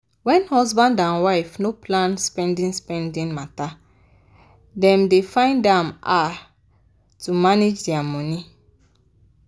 wen husband and wife no plan spendi-spendi matter dem dey find am harr to manage dia money.